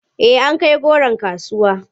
Eh an kai goron kasuwa.